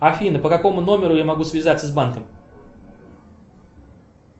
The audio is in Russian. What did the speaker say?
афина по какому номеру я могу связаться с банком